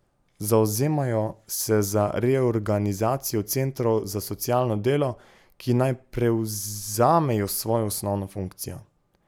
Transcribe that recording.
Zavzemajo se za reorganizacijo centrov za socialno delo, ki naj prevzamejo svojo osnovno funkcijo.